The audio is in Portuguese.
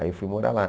Aí eu fui morar lá.